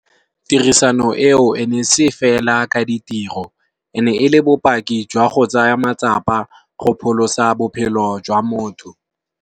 Tirisano eo e ne se fela ka ditiro e ne e le bopaki jwa go tsaya matsapa go pholosa bophelo jwa motho.